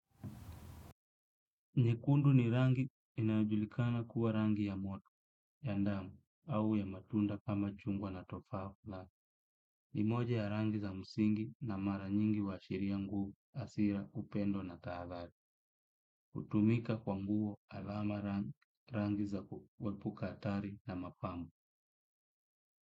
Nyekundu ni rangi inayojulikana kuwa rangi ya moto, ya damu au ya matunda kama chungwa na tofala, ni moja ya rangi za msingi na mara nyingi huashiria nguvu, hasira, upendo na tahadhari, hutumika kwa nguvu alama rangi za kuepuka hatari na mapambo.